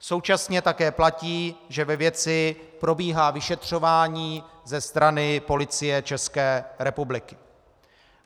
Současně také platí, že ve věci probíhá vyšetřování ze strany Policie České republiky.